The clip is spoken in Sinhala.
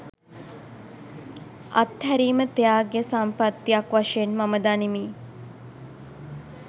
අත්හැරීම ත්‍යාගය සම්පත්තියක් වශයෙන් මම දනිමි